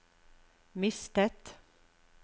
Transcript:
mistet